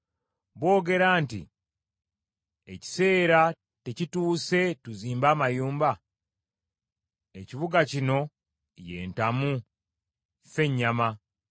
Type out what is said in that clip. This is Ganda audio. Boogera nti, ‘Ekiseera tekituuse tuzimbe amayumba? Ekibuga kino ye ntamu, ffe nnyama.’